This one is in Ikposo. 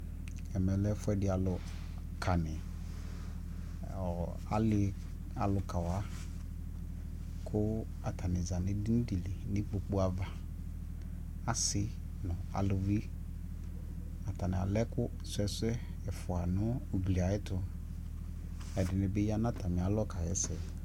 ɛmɛ lɛ ɛƒʋɛdi alʋ di, ɔɔ ali alʋka wa kʋ atani zanʋ ɛdini dili nʋ ikpɔkʋ aɣa, asii nʋ alʋvi, atani alɛ ɛkʋ srɔ ɛsɛ ɛƒʋa nʋ ʋgli ayɛtʋ, ɛdinibi yanʋ atami alɔ kayɛsɛ